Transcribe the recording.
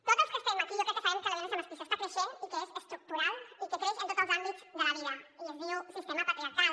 tots els que estem aquí jo crec que sabem que la violència masclista està creixent i que és estructural i que creix en tots els àmbits de la vida i es diu sistema patriarcal